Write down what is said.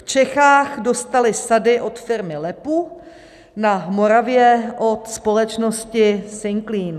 V Čechách dostaly sady od firmy LEPU, na Moravě od společnosti Singclean.